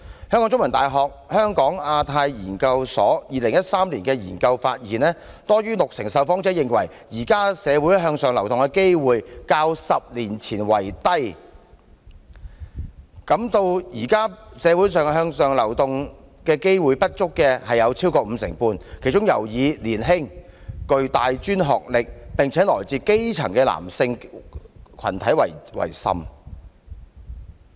香港中文大學香港亞太研究所2013年的研究發現，多於六成的受訪者認為，現時香港社會向上流動的機會較10年前差，感到現時社會向上流動機會不足的亦有約五成半，其中尤以年輕、具大專學歷、並且來自基層的男性群體為甚。